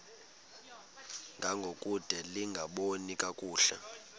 ngangokude lingaboni kakuhle